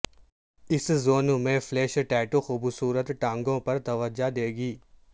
اس zone میں flash tattoo خوبصورت ٹانگوں پر توجہ دے گی